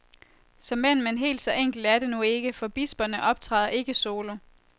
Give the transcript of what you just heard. Såmænd, men helt så enkelt er det nu ikke, for bisperne optræder ikke solo.